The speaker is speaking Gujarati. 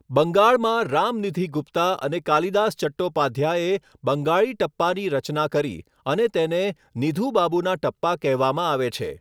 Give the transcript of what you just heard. બંગાળમાં, રામનિધિ ગુપ્તા અને કાલિદાસ ચટ્ટોપાધ્યાએ બંગાળી ટપ્પાની રચના કરી અને તેને નિધુ બાબુના ટપ્પા કહેવામાં આવે છે.